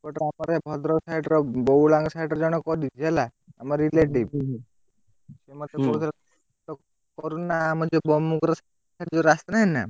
ଆଉ ତାପରେ ଭଦ୍ରକ side ର ବଉଳାଙ୍କ side ରେ ଜଣେ କରିଚି ହେଲା। ଆମ relative କରୁନା ଆମର ଯୋଉ ଯୋଉ ରାସ୍ତା ନାହିଁ ନା?